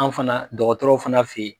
Anw fana dɔgɔtɔrɔw fana fe